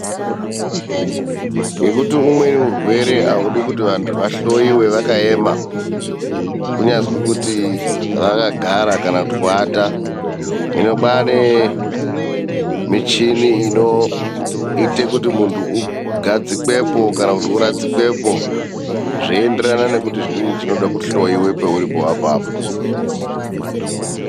Ngokuti umweni urwere haudi kuti vantu vahloyiwe vakaema, kunyazi kuti vakagara kana kuata. Hino kwane michini inoita kuti muntu ugadzikwepo kana uradzikwepo, zveinderana nekuti zvii zvinoda kuhloyiwe pauripo apapo.